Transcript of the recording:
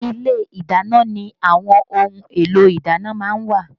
Ilé ìdáná ni àwọn ohun èlò ìdáná má ń wà